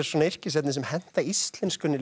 yrkisefni sem henta íslenskunni